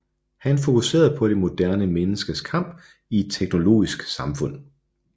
Han fokuserede på det moderne menneskes kamp i et teknologisk samfund